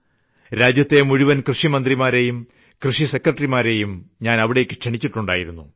രാജ്യത്തെ മുഴുവൻ കൃഷിമന്ത്രിമാരെയും കൃഷി സെക്രട്ടറിമാരെയും ഞാൻ അവിടേയ്ക്ക് ക്ഷണിച്ചിട്ടുണ്ടായിരുന്നു